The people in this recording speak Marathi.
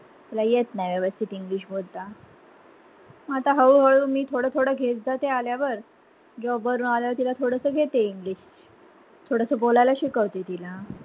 तिला येत नाही वेवस्थित English बोलता आता हळू - हळू मी थोड- थोड घेत जाते आल्यावर job वरून आल्यावर थोडस घेते English थोडस बोलायला शिकवते तिला